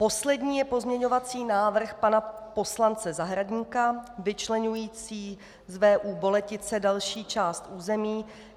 Poslední je pozměňovací návrh pana poslance Zahradníka vyčleňující z VÚ Boletice další část území.